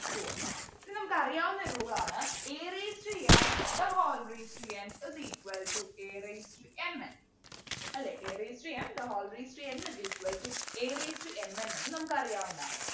Two ഉണ്ട് ഇനി നമുക്കറിയാവുന്ന rule ആണ് a raised to m the whole raised to n is equal to a raised to m n അല്ലേ a raised to m the whole raised to n is equal to a raised to m n എന്നു നമുക്കറിയാവുന്നതാണ്